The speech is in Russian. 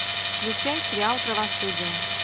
включай сериал правосудие